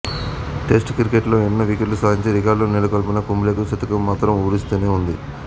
test cricket లో ఎన్నో వికెట్లు సాధించి రికార్డులు నెలకొల్పిన కుంబ్లేకు శతకం మాత్రం ఊరిస్తూనే ఉంది